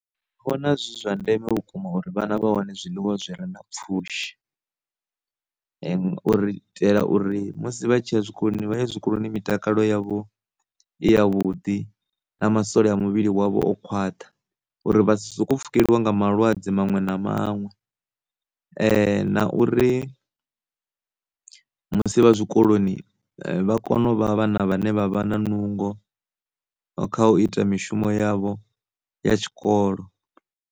Ndi vhona zwi zwa ndeme vhukuma uri vhana vha wane zwiḽiwa zwi re na pfhushi u itela uri musi vha tshi ya zwikoloni vha ye zwikoloni mitakalo yavho i ya vhuḓi na masole a mivhili wavho o khwaṱha uri vha si suku pfhukeliwa nga malwadze maṅwe na maṅwe, na uri musi vha zwikoloni vha kone uvha vhana vhane vha vha na nungo kha u ita mishumo yavho ya tshikolo.